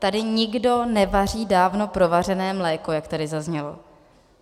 Tady nikdo nevaří dávno provařené mléko, jak tady zaznělo.